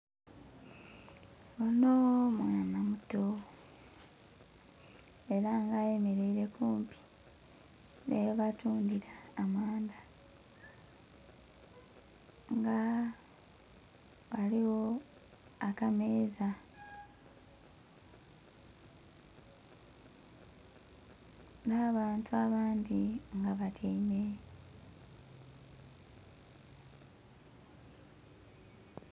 Onho mwaana muto ela nga ayemeleile kumpi nhi ghe batundhira amandha. Nga ghaligho akameeza nh'abantu abandhi nga batyaime.